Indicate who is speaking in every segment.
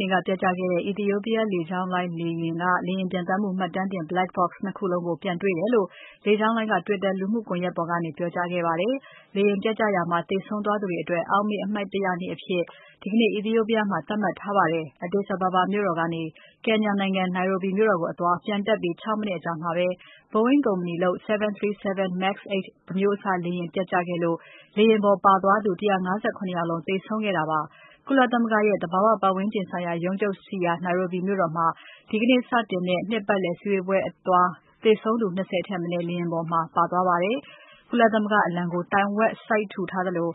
Speaker 1: နေ့က ပျက်ကျခဲ့တဲ့ Ethiopian လေကြောင်းလိုင်းက လေယာဉ်ပျံသန်းမှု မှတ်တမ်းတင် Black box ၂ ခုလုံးကို ပြန်တေ့ွတယ်လို့ လေကြောင်းလိုင်းက Twitter လူမှုကွန်ယက်ပေါ်ကနေ ပြောကြားလိုက်ပါတယ်။ လေယာဉ်ပျက်ကျရာမှာ သေဆုံးခဲ့သူတွေအတွက် အောက်မေ့ အမှတ်တရနေ့အဖြစ် ဒီကနေ့ Ethiopia မှာ သတ်မှတ်ထားပါတယ်။ Addis Ababa မြို့တော်ကနေ Kenya နိုင်ငံ Nairobi မြို့တော်ကိုအသွား ပျံတက်ပြီး ၆ မိနစ်အကြာမှာပဲ Boeing ကုမ္ပဏီလုပ် 737 MAX-8 အမျိုးအစား လေယာဉ်ပျက်ကျခဲ့လို့ လေယာဉ်ပေါ် ပါသွားသူ ၁၅၇ ယောက်လုံး သေဆုံးခဲ့တာပါ။ ကုလသမဂ္ဂရဲ့ သဘာဝပတ်ဝန်းကျင်ဆိုင်ရာ ရုံးချုပ်ရှိရာ Nairobi မြို့တော်မှာ ဒီကနေ့စတင်တဲ့ နှစ်ပတ်လည်အစည်ဝေးပွဲအသွား သေဆုံးသူ ၂၀ ထက်မနည်း လေယာဉ်ပေါ်မှာ ပါသွားပါတယ်။ ကုလသမဂ္ဂအလံကို တိုင်ဝက်လွှင့်ထူထားသလို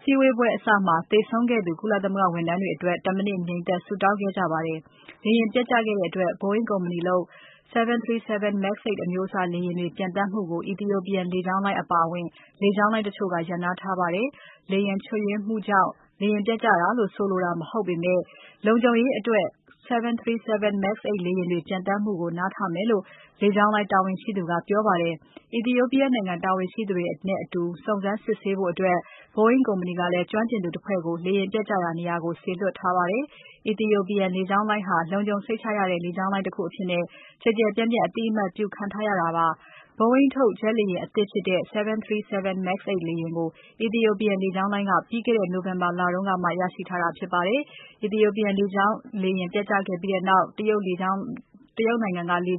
Speaker 1: စည်းဝေးပွဲအစမှာ သေဆုံးခဲ့သူ ကုလသမဂ္ဂ ဝန်ထမ်းတွေအတွက် ၁ မိနစ်ငြိမ်သက် ဆုတောင်းခဲ့ကြပါတယ်။ လေယာဉ်ပျက်ကျခဲ့တဲ့အတွက် Boeing ကုမ္ပဏီထုတ် 737-Max 8 အမျိုးအစား လေယာဉ်တွေ ပျံသန်းမှုကို Ethiopian လေကြောင်းလိုင်း အပါအဝင် လေကြောင်းလိုင်း တချို့က ရပ်နားထားပါတယ်။ လေယာဉ်ချို့ယွင်းမှုကြောင့် လေယာဉ်ပျက်ကျတယ်လို့ ဆိုလိုတာ မဟုတ်ပေမဲ့ လုံခြုံရေးအတွက် 737-Max 8 လေယာဉ်တွေပျံသန်းမှုကို နားထားမယ်လို့ လေကြောင်းလိုင်းတာဝန်ရှိသူက ပြောပါတယ်။ Ethiopia နိုင်ငံ တာဝန်ရှိသူတွေနဲ့အတူ စုံစမ်းစစ်ဆေးဖို့ Boeing ကုမ္ပဏီက ကျွမ်းကျင်သူတဖွဲ့ကို လေယာဉ်ပျက်ကျရာ နေရာကို စေလွှတ်ထားပါတယ်။ Ethiopian လေကြောင်းလိုင်းဟာ လုံခြုံစိတ်ချရတဲ့ လေကြောင်းလိုင်းတခုအဖြစ် ကျယ်ကျယ်ပြန့်ပြန့် အသိအမှတ် ပြုခံထားရတာပါ။ Boeing ထုတ် ဂျက်လေယာဥ ်အသစ်ဖြစ်တဲ့ 737 MAX-8 လေယာဉ်ကို Ethiopian လေကြောင်းလိုင်းက ပြီးခဲ့တဲ့နှစ် November လကမှ ရရှိထားတာဖြစ်ပါတယ်။ Ethiopian လေယာဉ် ပျက်ကျခဲ့ပြီးနောက် တရုတ်နိုင်ငံကလည်း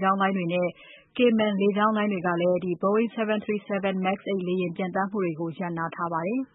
Speaker 1: Boeing 737-Max 8 လေယာဉ် ပျံသန်းမှုတွေကို ရပ်နားထားပါတယ်။